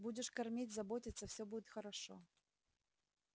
будешь кормить заботиться всё будет хорошо